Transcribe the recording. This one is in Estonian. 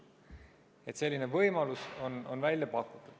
Selline võimalus on välja pakutud.